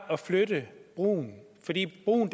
at flytte brugen fordi brugen